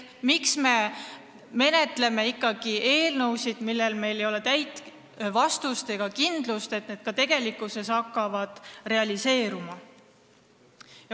Miks me ikkagi menetleme eelnõusid, mille puhul ei ole kindlust, et seadus ka tegelikkuses hakkab toimima?